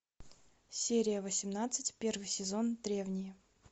серия восемнадцать первый сезон древние